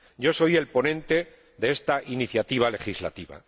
Yo soy el ponente de esta iniciativa legislativa.